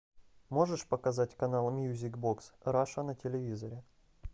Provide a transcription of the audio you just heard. можешь показать канал мьюзик бокс раша на телевизоре